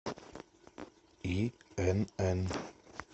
инн